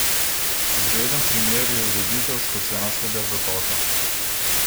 Zgleden primer je ureditev Škocjanskega zatoka.